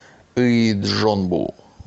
ыйджонбу